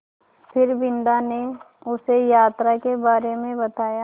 फिर बिन्दा ने उसे यात्रा के बारे में बताया